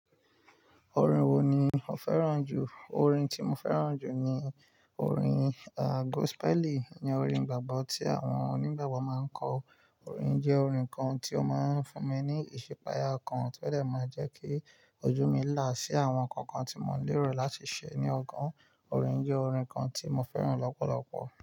Orin wo ni o fẹ́ràn jù? Orin tí mo fẹ́ràn jù ni orin, à, gospel. Iyen orin ìgbàgbọ́ tí àwọn onígbàgbọ́ máa ń kọ. Orin yi jẹ́ orin kan tí ó máa ń fún mi ní ìsipayà kan tí ó de máa jẹ́ kí ojú mi là sí àwọn nǹkan kan tí mò lérò láti ṣe ní ọgàn. Orin jẹ́ orin kan tí mo fẹ́ràn lọ́pọ̀lọpọ̀.